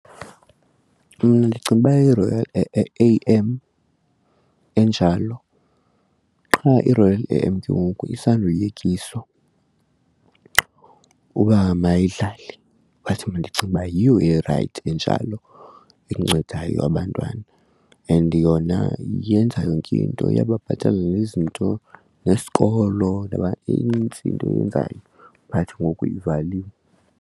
Mna ndicinga uba yiRoyal A_M enjalo. Qha iRoyal A_M ke ngoku isandoyekiswa uba mayidlale. But mna ndicinga uba yiyo erayithi enjalo encedayo abantwana and yona yenza yonke into iyababhatalela nezinto nesikolo noba inintsi into eyenzayo but ngoku ivaliwe.